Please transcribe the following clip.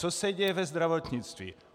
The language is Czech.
Co se děje ve zdravotnictví?